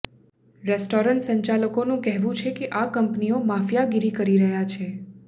restaurant સંચાલકોનું કહેવું છે કે આ કંપનીઓ માફિયાગિરી કરી રહી છે